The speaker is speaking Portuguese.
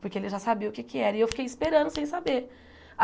porque ele já sabia o que é que era, e eu fiquei esperando sem saber.